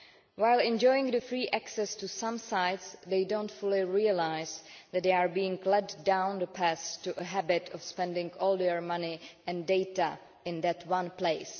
While enjoying free access to some sites, they do not fully realise that they are being led down the path to a habit of spending all their money and data in that one place.